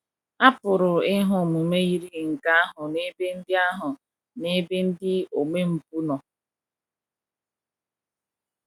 A pụrụ ịhụ omume yiri nke ahụ n’ebe ndị ahụ n’ebe ndị omempụ nọ.